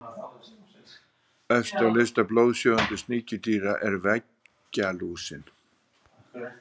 Efst á lista blóðsjúgandi sníkjudýra er veggjalúsin.